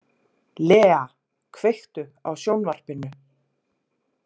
Lea, kveiktu á sjónvarpinu.